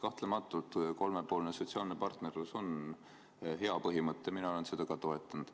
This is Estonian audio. Kahtlemata on kolmepoolne sotsiaalne partnerlus hea põhimõte, mina olen seda ka toetanud.